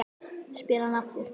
spyr hann aftur.